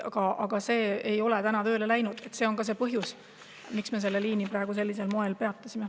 Aga see ei ole tööle läinud ja see on põhjus, miks me selle liini praegu sellisel moel peatasime.